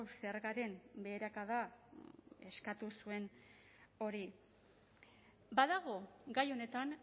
zergaren beherakada eskatu zuen hori badago gai honetan